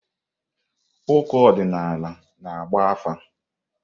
Ụkọ ọdịnala na-agba afa.